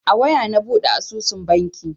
A waya na buɗe asusun banki.